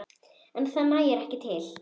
En það nægi ekki til.